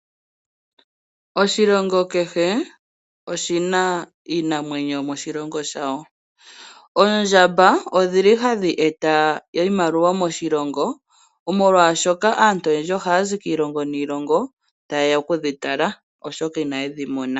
Oshilongo kehe oshi na iinamwenyo yomoshilongo shawo. Oondjamba ohadhi eta iimaliwa moshilongo, molwashoka aantu oyendji ohaa zi kiilongo niilongo taye ya okudhitala, oshoka inaye dhi mona nale.